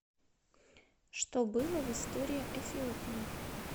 что было в история эфиопии